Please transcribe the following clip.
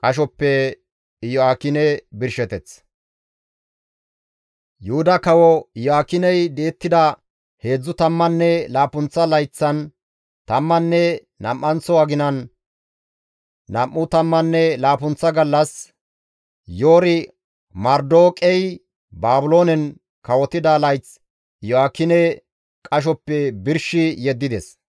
Yuhuda kawo Iyo7aakiney di7ettida heedzdzu tammanne laappunththa layththan tammanne nam7anththo aginan nam7u tammanne laappunththa gallas Yori-Marodeeqey Baabiloonen kawotida layth Iyo7aakine qashoppe birshi yeddides.